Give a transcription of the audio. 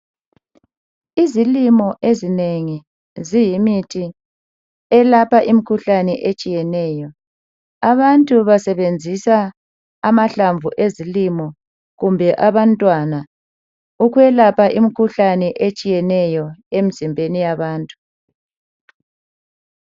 Izilimo ezinengi ziyimithi elapha imikhuhlane etshiyeneyo abantu basenzisa amahlamvu ezilimo kumbe abantwana ukwelapha imikhuhlane etshiyeneyo emzimbeni yabantu.